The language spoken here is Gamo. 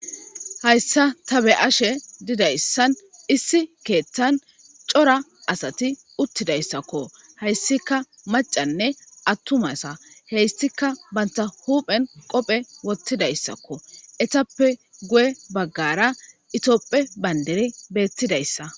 hayssa ta be'ashe didayssan issi keeththan cora asati uttidayssakko hayssika macanne attuma asa heyssika banta huphen qophe wottidayssakko etappe guye baggara itopphe bandiri beettidayssa